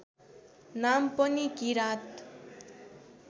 नाम पनि किराँत